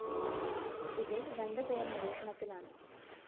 ഇതില്‍ രണ്ട് പേര്‍ നിരീക്ഷണത്തിലാണ്